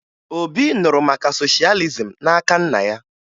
Obi nụrụ maka soshalizim n'aka nna ya